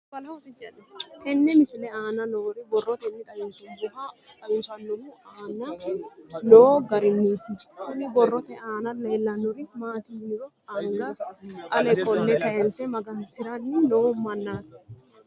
Tenne misile aana noore borroteni xawiseemohu aane noo gariniiti. Kunni borrote aana leelanori maati yiniro anga ale qole kayse magansiranni noo manaati.